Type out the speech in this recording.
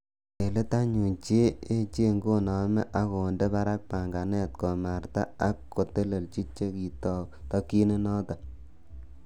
Elet anyun, che echen konome ak konde barak pang'anet komarta, ak kotelelchi che kitau tokyin inoton.